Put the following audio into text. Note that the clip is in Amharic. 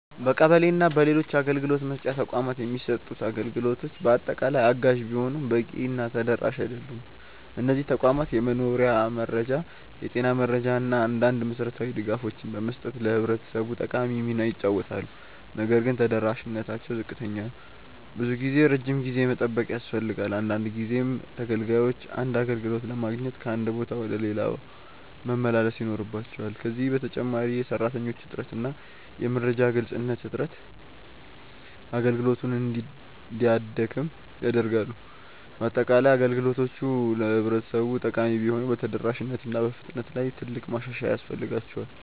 በቀበሌ እና በሌሎች አገልግሎት መስጫ ተቋማት የሚሰጡት አገልግሎቶች በአጠቃላይ አጋዥ ቢሆኑም በቂ ተደራሽ አይደሉም። እነዚህ ተቋማት የመኖሪያ መረጃ፣ የጤና መረጃ እና አንዳንድ መሠረታዊ ድጋፎችን በመስጠት ለህብረተሰቡ ጠቃሚ ሚና ይጫወታሉ። ነገር ግን ተደራሽነታቸው ዝቅተኛ ነው። ብዙ ጊዜ ረጅም ጊዜ መጠበቅ ያስፈልጋል፣ አንዳንድ ጊዜም ተገልጋዮች አንድ አገልግሎት ለማግኘት ከአንድ ቦታ ወደ ሌላ መመላለስ ይኖርባቸዋል። ከዚህ በተጨማሪ የሰራተኞች እጥረት እና የመረጃ ግልጽነት እጥረት አገልግሎቱን እንዲያደክም ያደርጋሉ። በአጠቃላይ፣ አገልግሎቶቹ ለህብረተሰቡ ጠቃሚ ቢሆኑም በተደራሽነት እና በፍጥነት ላይ ትልቅ ማሻሻያ ያስፈልጋቸዋል።